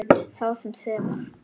Sá sem sefar.